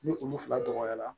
Ni olu fila dɔgɔyara